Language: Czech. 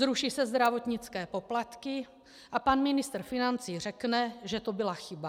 Zruší se zdravotnické poplatky, a pan ministr financí řekne, že to byla chyba.